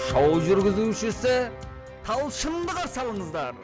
шоу жүргізушісі талшынды қарсы алыңыздар